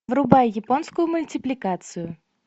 врубай японскую мультипликацию